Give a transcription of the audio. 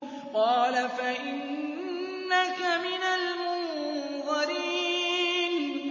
قَالَ فَإِنَّكَ مِنَ الْمُنظَرِينَ